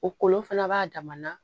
O kolon fana b'a dama na